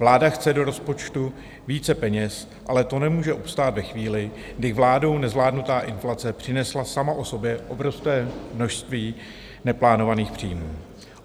Vláda chce do rozpočtu více peněz, ale to nemůže obstát ve chvíli, kdy vládou nezvládnutá inflace přinesla sama o sobě obrovské množství neplánovaných příjmů.